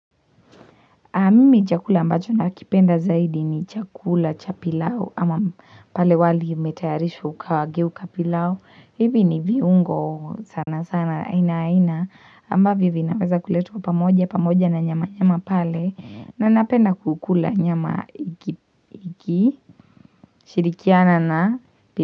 Aah mimi chakula ambacho nakipenda zaidi ni chakula cha pilau ama pale wali imetayarishwa ukageuka pilau. Hivi ni viungo sana sana aina aina ambavyo vinaweza kuletwa pamoja pamoja na nyama nyama pale na napenda kukula nyama iki ikishirikiana na pili.